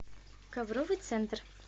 ковровый центр